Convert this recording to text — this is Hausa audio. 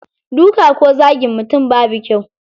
Duka ko zagin mutum babu kyau.